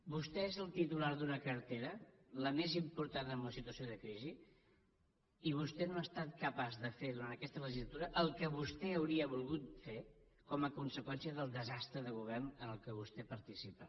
vostè és el titular d’una cartera la més important en una situació de crisi i vostè no ha estat capaç de fer durant aquesta legislatura el que vostè hauria volgut fer com a conseqüència del desastre de govern en què vostè participa